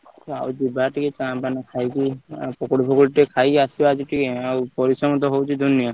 ଆଉ ଯିବା ଟିକେ ଚା ପାନ ଖାଇକି ଆଉ ପକୁଡି ଫକଉଡି ଟିକେ ଖାଇକି ଆସିବା ଆଜି ଟିକେକ ଆଉ ପରିଶ୍ରମ ତ ହଉଛି ଦୁନିଆ।